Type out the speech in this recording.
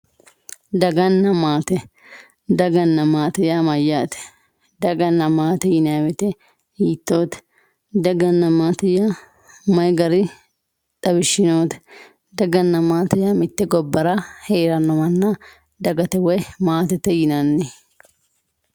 daganna maate daganna maatete yaa mayyaate daganna maate yinay woyte hiittoote daganna maate may gari xawishshi noote daganna maate yaa mitte gobbara heeranno manna dagate woy maatete yinanni.